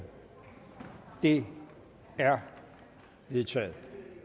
det er vedtaget